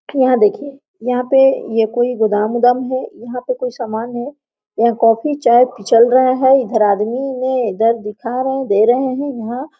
यहाँ देखिये यहाँ पे ये कोई गोदाम उदाम है यहाँ पे कोई सामान है यहाँ कॉफ़ी चाय पिछल रहा है इधर आदमी मे दर्द देखा रहे है दे रहे है यहां।